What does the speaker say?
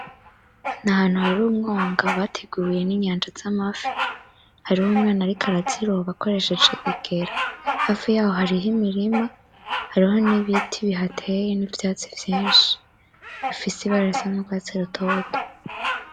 Ni ahantu hari umwonga bateguriyemwo inyanja z'amafi. Hariho umwana ariko araziroba akoresheje igera, hafi yaho hariyo imirima, hariho nibiti bihateye, nivyatsi vyinshi bifise ibara ry'urwatsi rutoto.